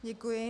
Děkuji.